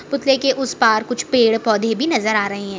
पुतले के उस पार कुछ पेड़-पौधे भी नजर आ रहे हैं।